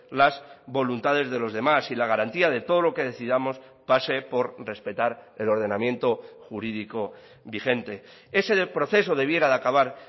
las voluntades de los demás y la garantía de todo lo que decidamos pase por respetar el ordenamiento jurídico vigente ese proceso debiera de acabar